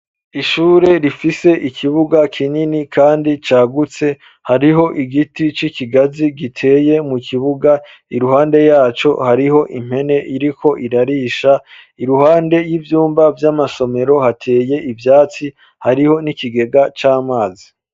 Ishure ,rifise, ikibuga ,kinini ,kandi cagutse ,hariho igiti c'ikigazi giteye ,mu kibuga iruhande yaco hariho impene ,iriko irarisha iruhande y'ivyumba vy'amasomero ,hateye ivyatsi hariho n'ikigega c'amazi.